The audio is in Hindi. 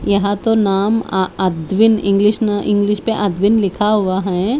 यहाँ तो नाम अः अध्विन इंग्लिश न इंग्लिश में अध्विन लिखा हुआ है।